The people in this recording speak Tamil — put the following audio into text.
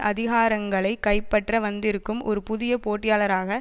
அதிகாரங்களை கைப்பற்ற வந்திருக்கும் ஒரு புதிய போட்டியாளராக